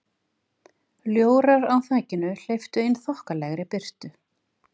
Ljórar á þakinu hleyptu inn þokkalegri birtu.